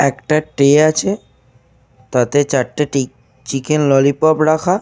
একটা ট্রে আছে। তাতে চারটে টিক চিকেন ললিপপ রাখা।